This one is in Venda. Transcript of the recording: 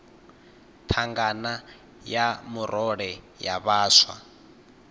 thangana ya murole ya vhaswa